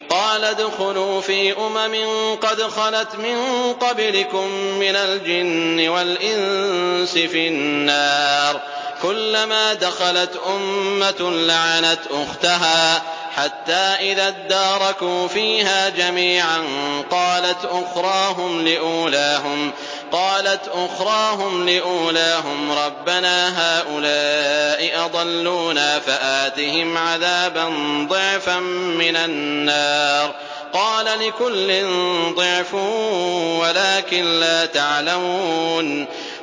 قَالَ ادْخُلُوا فِي أُمَمٍ قَدْ خَلَتْ مِن قَبْلِكُم مِّنَ الْجِنِّ وَالْإِنسِ فِي النَّارِ ۖ كُلَّمَا دَخَلَتْ أُمَّةٌ لَّعَنَتْ أُخْتَهَا ۖ حَتَّىٰ إِذَا ادَّارَكُوا فِيهَا جَمِيعًا قَالَتْ أُخْرَاهُمْ لِأُولَاهُمْ رَبَّنَا هَٰؤُلَاءِ أَضَلُّونَا فَآتِهِمْ عَذَابًا ضِعْفًا مِّنَ النَّارِ ۖ قَالَ لِكُلٍّ ضِعْفٌ وَلَٰكِن لَّا تَعْلَمُونَ